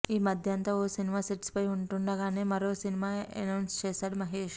ఈ మధ్యంతా ఓ సినిమా సెట్స్ పై ఉంటుండగానే మరో సినిమా ఎనౌన్స్ చేశాడు మహేష్